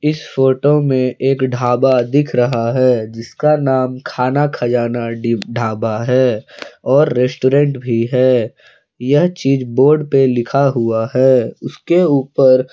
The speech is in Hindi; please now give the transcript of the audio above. इस फोटो में एक ढाबा दिख रहा है जिसका नाम खाना खजाना डी ढाबा है और रेस्टोरेंट भी है यह चीज बोर्ड पर लिखा हुआ है उसके ऊपर--